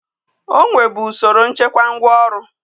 O nwebu usoro nchekwa ngwaọrụ.